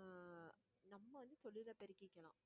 அஹ் நம்ம வந்து தொழிலை பெருக்கிக்கலாம்